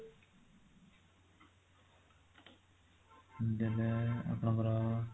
ଏବେ ଆପଣଙ୍କର